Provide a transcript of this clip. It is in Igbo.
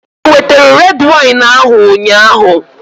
Ewetere red wine ahụ ụnyaahụ?